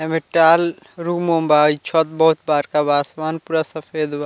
एमे टाल रूम - उम बा इ छत बहुत बड़का बा असमान पूरा सफ़ेद बा।